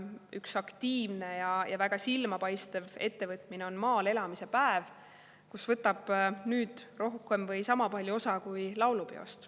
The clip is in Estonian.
Üks aktiivne ja väga silmapaistev ettevõtmine on maal elamise päev, millest võtab nüüd osa rohkem või sama palju kui laulupeost.